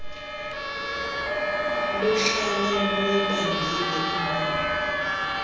luhlale luyibambile ingono